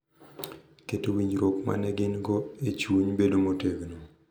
Keto winjruok ma ne gin-go e chuny bedo motegno